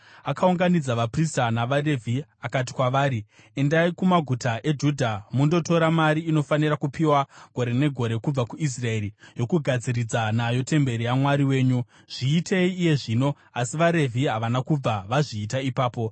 Akaunganidza vaprista navaRevhi akati kwavari, “Endai kumaguta eJudha mundotora mari inofanira kupiwa gore negore kubva kuIsraeri, yokugadziridza nayo temberi yaMwari wenyu. Zviitei iye zvino.” Asi vaRevhi havana kubva vazviita ipapo.